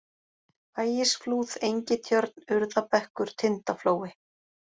Ægisflúð, Engitjörn, Urðabekkur, Tindaflói